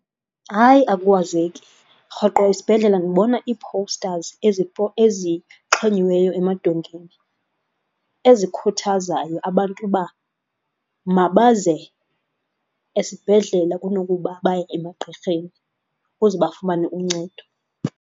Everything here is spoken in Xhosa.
Hayi! Akukwazeki. Rhoqo isibhedlele ndibona ii-posters ezixhonyiweyo emadongeni ezikhuthazayo abantu uba mabaze esibhedlele kunokuba baye emagqirheni ukuze bafumane uncedo.